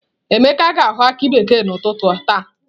Emeka ga ahọ aki bekee na ụtụtụ taa.